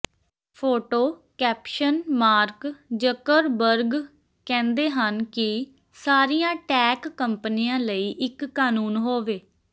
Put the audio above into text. photo caption Mark Zuckerberg ਕਹਿੰਦੇ ਹਨ ਕਿ ਸਾਰੀਆਂ ਟੈੱਕ ਕੰਪਨੀਆਂ ਲਈ ਇੱਕ ਕਾਨੂੰਨ ਹੋਵੇ